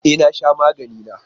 E na sha magani na